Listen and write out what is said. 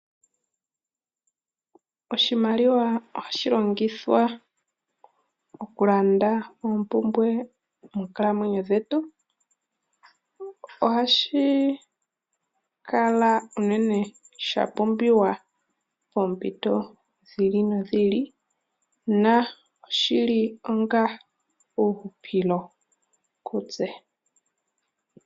Oshimaliwa ohashi longithwa okulanda oompumbwe moonkalamwenyo dhetu. Ohashi kala unene sha pumbiwa unene poompito dhi ili nodhi ili na oshili onga uuhupilo kutse.